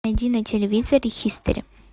найди на телевизоре хистори